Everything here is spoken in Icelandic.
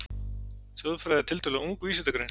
Þjóðfræði er tiltölulega ung vísindagrein.